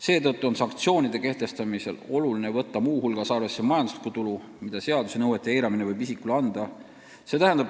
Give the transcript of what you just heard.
Seetõttu on sanktsioonide kehtestamisel oluline võtta muu hulgas arvesse majanduslikku tulu, mida seaduse nõuete eiramine võib isikule anda.